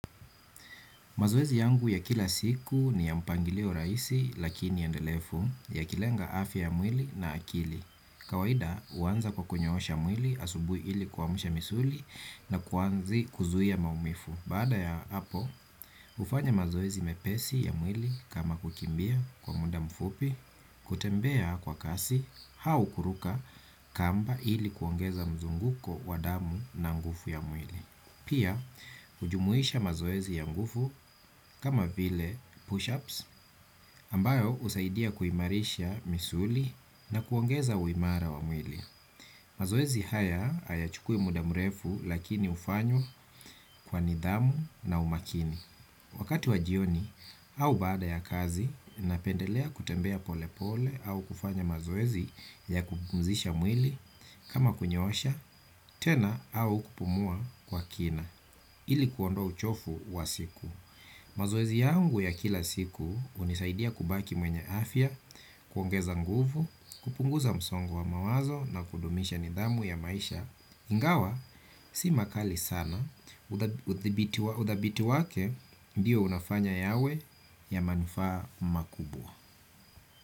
Mazoezi yangu ya kila siku ni ya mpangilio raisi lakini endelefu ya kilenga afia ya mwili na akili. Kawaida uanza kwa kunyoosha mwili asubui ili kuamsha misuli na kuanzi kuzuia maumifu. Baada ya hapo, hufanya mazoezi mepesi ya mwili kama kukimbia kwa muda mfupi, kutembea kwa kasi, hau kuruka kamba ili kuongeza mzunguko wa damu na ngufu ya mwili. Pia, hujumuisha mazoezi ya ngufu kama vile push-ups ambayo usaidia kuimarisha misuli na kuongeza uimara wa mwili. Mazoezi haya hayachukui muda mrefu lakini ufanywa kwa nidhamu na umakini. Wakati wa jioni au baada ya kazi, napendelea kutembea pole pole au kufanya mazoezi ya kupumzisha mwili kama kunyosha, tena au kupumua kwa kina. Ili kuondoa uchofu wa siku mazoezi yangu ya kila siku unisaidia kubaki mwenye afya. Kuongeza nguvu kupunguza msongo wa mawazo na kudumisha nidhamu ya maisha ingawa, si makali sana udhabiti wake ndiyo unafanya yawe ya manufaa makubwa.